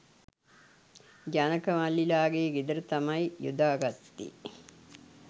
ජනක මල්ලිලගේ ගෙදර තමයි යොදා ගත්තේ.